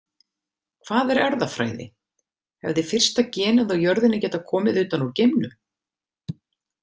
Hvað er erfðafræði Hefði fyrsta genið á jörðinni getað komið utan úr geimnum?